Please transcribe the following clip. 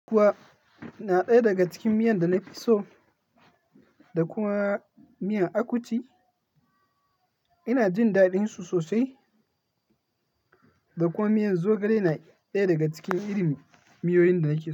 Kuka na ɗaya daga cikin miyan da na fi so, da kuma miyan akushi. Ina jin daɗinsu sosai, da kuma miyan zogale na ɗaya daga cikin irin miyoyin da na fi so.